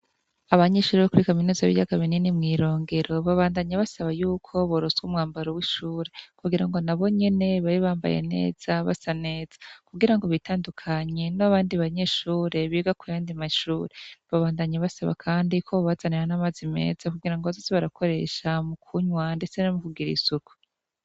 Abanyishuri bo kuri kaminozi b'iryagaminini mw'irongero babandanyi basaba yuko boroswa umwambaro w'ishure kugira ngo nabonyene babibambaye neza basa neza kugira ngo bitandukanye no abandi banyeshure biga kuyandi mashure babandanyi basaba, kandi ko bbazanira n'amazi meza kugira ngo bazosi barakoresha mu kunywa, ndetse no muk r isuku.